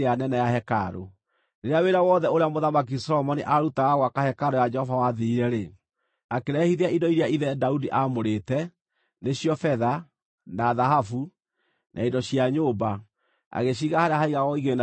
Rĩrĩa wĩra wothe ũrĩa Mũthamaki Solomoni aarutaga wa gwaka hekarũ ya Jehova wathirire-rĩ, akĩrehithia indo iria ithe Daudi aamũrĩte, nĩcio betha, na thahabu, na indo cia nyũmba, agĩciiga harĩa haigagwo igĩĩna cia hekarũ ya Jehova.